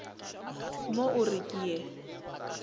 mo o re ke ye